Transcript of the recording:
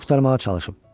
Canını qurtarmağa çalışıb.